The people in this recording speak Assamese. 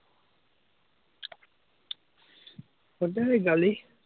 সদায় গালি।